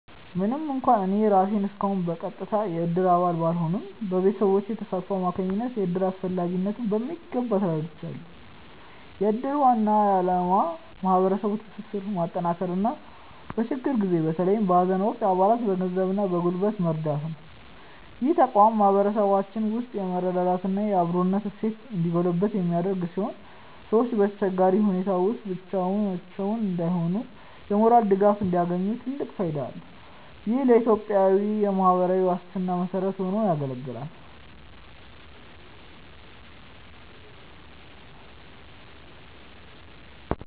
ምንም እንኳን እኔ ራሴ እስካሁን በቀጥታ የእድር አባል ባልሆንም፣ በቤተሰቤ ተሳትፎ አማካኝነት የእድርን አስፈላጊነት በሚገባ ተረድቻለሁ። የእድር ዋና ዓላማ ማህበራዊ ትስስርን ማጠናከርና በችግር ጊዜ በተለይም በሀዘን ወቅት አባላትን በገንዘብና በጉልበት መርዳት ነው። ይህ ተቋም በማህበረሰባችን ውስጥ የመረዳዳትና የአብሮነት እሴት እንዲጎለብት የሚያደርግ ሲሆን፣ ሰዎች በአስቸጋሪ ሁኔታዎች ውስጥ ብቻቸውን እንዳይሆኑና የሞራል ድጋፍ እንዲያገኙ ትልቅ ፋይዳ አለው። ይህም ለኢትዮጵያዊያን የማህበራዊ ዋስትና መሰረት ሆኖ ያገለግላል።